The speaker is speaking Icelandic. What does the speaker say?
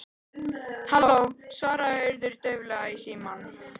Halló- svaraði Urður dauflega í símann.